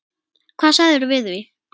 Hvað segirðu við því?